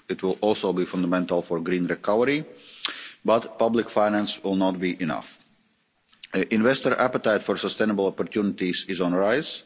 It will also be fundamental for the green recovery, but public finance will not be enough. Investor appetite for sustainable opportunities is on the rise.